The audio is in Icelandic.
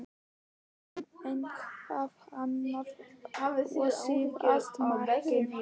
Síðan eitthvað annað og síðast makinn.